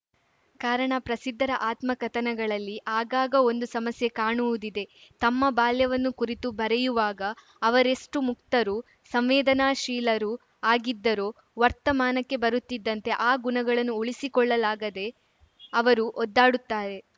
ಕಾರಣ ಪ್ರಸಿದ್ಧರ ಆತ್ಮಕಥನಗಳಲ್ಲಿ ಆಗಾಗ ಒಂದು ಸಮಸ್ಯೆ ಕಾಣುವುದಿದೆ ತಮ್ಮ ಬಾಲ್ಯವನ್ನು ಕುರಿತು ಬರೆಯುವಾಗ ಅವರೆಷ್ಟುಮುಕ್ತರೂ ಸಂವೇದನಾಶೀಲರೂ ಆಗಿದ್ದರೋ ವರ್ತಮಾನಕ್ಕೆ ಬರುತ್ತಿದ್ದಂತೆ ಆ ಗುಣಗಳನ್ನು ಉಳಿಸಿಕೊಳ್ಳಲಾಗದೆ ಅವರು ಒದ್ದಾಡುತ್ತಾರೆ